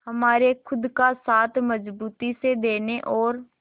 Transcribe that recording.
हमारे खुद का साथ मजबूती से देने और